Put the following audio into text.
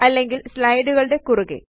അല്ലെങ്കില് സ്ലയ്ടുകളുടെ കുറുകെ